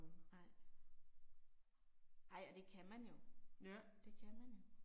Nej. Ej og det kan man jo. Det kan man jo